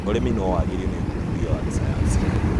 ũrĩmi nowagĩrio nĩũthuthuria wa gĩsayansi.